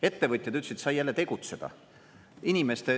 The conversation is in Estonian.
Ettevõtjad ütlesid, sai jälle tegutseda.